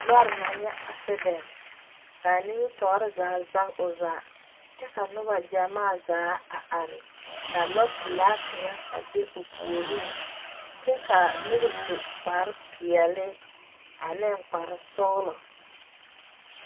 Lɔɔre naŋ le, kaa nimitɔre zage o zaa?, kyɛ ka noba gyamaa zaa a are ka lɔɔ pɛlaa kaŋa a be o puoriŋ kyɛ ka noba su kpare pɛɛle ane kpare sɔglɔ .